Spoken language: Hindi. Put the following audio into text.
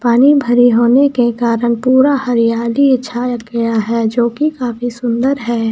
पानी भरे होने के कारण पूरा हरियाली छाया गया है जोकी काफी सुंदर है ।